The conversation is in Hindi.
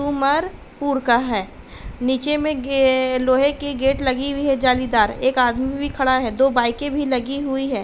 उमर पुर का है। नीचे में गे लोहे की गेट लगी हुई है जालीदार। एक आदमी भी खड़ा है। दो बाइकें भी लगी हुई हैं।